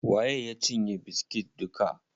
Waye ya cinye biskit duka?